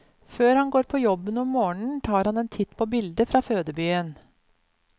Før han går på jobben om morgenen, tar han en titt på bildet fra fødebyen.